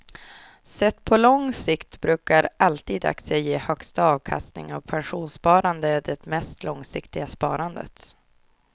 Sett på lång sikt brukar alltid aktier ge högsta avkastningen och pensionssparande är det mest långsiktiga sparandet.